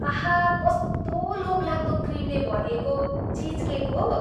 आहा, कस्तो लोभलाग्दो क्रिमले भरिएको चिजकेक हो!